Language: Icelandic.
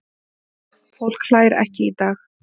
Fólk hlær ekki í dag.